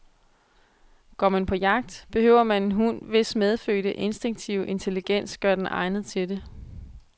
Går man på jagt, behøver man en hund, hvis medfødte, instinktive intelligens gør den egnet til det.